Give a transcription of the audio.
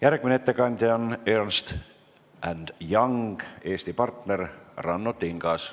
Järgmine ettekandja on EY Eesti partner Ranno Tingas.